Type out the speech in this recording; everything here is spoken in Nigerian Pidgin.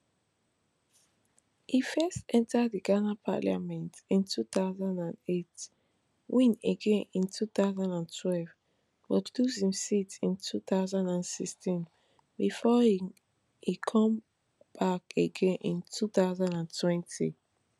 e first enta di ghana parliament in two thousand and eight win again in two thousand and twelve but lose im seat in two thousand and sixteen bifor e come back again in two thousand and twenty